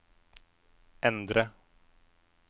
endre